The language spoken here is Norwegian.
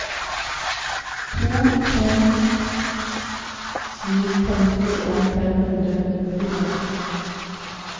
to to fem sju femtien fem hundre og nittifem